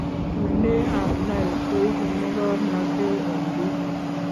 Oinee ab Nile ko ibu mokornotee eng biiik